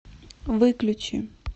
выключи